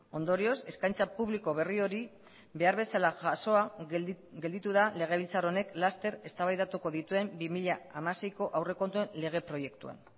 ondorioz eskaintza publiko berri hori behar bezala jasoa gelditu da legebiltzar honek laster eztabaidatuko dituen bi mila hamaseiko aurrekontuen lege proiektuan